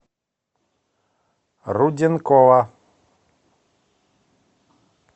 руденкова